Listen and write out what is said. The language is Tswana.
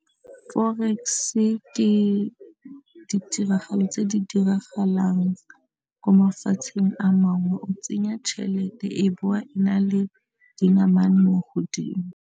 Fore- e ke ditiragalo tse di diragalang ko mafatsheng a mangwe o tsenya tšhelete e bowa e na le dinamane mo godimo.